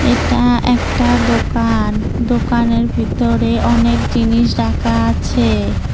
এটা একটা দোকান দোকানের ভিতরে অনেক জিনিস রাখা আছে।